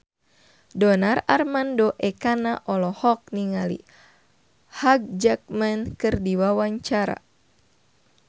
Donar Armando Ekana olohok ningali Hugh Jackman keur diwawancara